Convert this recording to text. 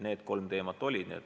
Need kolm teemat olid laual.